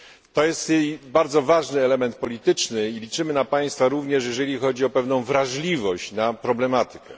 To jest bardzo ważny element polityczny i liczymy na państwa również, jeżeli chodzi o pewną wrażliwość na problematykę.